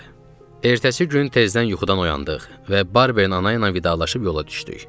Ertəsi gün tezdən yuxudan oyandıq və Barber ana ilə vidalaşıb yola düşdük.